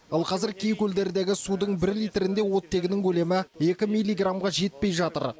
ал қазір кей көлдердегі судың бір литрінде оттегінің көлемі екі миллиграммға жетпей жатыр